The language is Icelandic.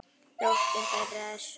Dóttir þeirra er Sóley Rut.